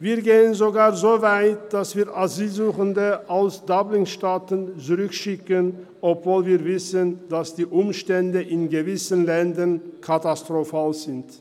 Wir gehen sogar so weit, dass wir Asylsuchende aus DublinStaaten zurückschicken, obwohl wir wissen, dass die Umstände in gewissen Ländern katastrophal sind.